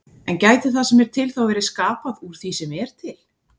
En gæti það sem er til þá verið skapað úr því sem er til?